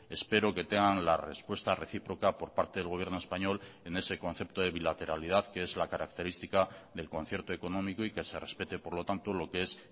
espero que tengan la respuesta recíproca por parte del gobierno español en ese concepto de bilateralidad que es la característica del concierto económico y que se respete por lo tanto lo que es